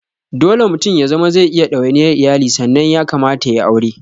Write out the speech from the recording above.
Dole mutum ya zama zai iya ɗawaniyar iyali sannan ya kamata yayi aure